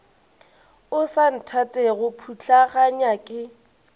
o sa nthatego putlaganya ke